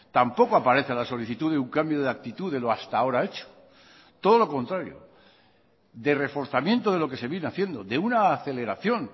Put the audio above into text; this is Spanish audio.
tampoco aparece la solicitud de un cambio de actitud de lo hasta ahora hecho todo lo contrario de reforzamiento de lo que se viene haciendo de una aceleración